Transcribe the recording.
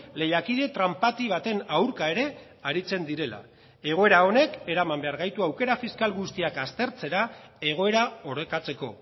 lehiakide tranpati baten aurka ere aritzen direla egoera honek eraman behar gaitu aukera fiskal guztiak aztertzera egoera orekatzeko